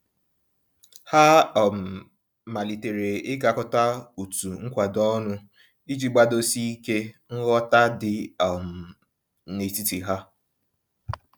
Ha um malitere ịgakọta otu nkwado ọnụ, iji gbadosi ike nghọta dị um n'etiti ha.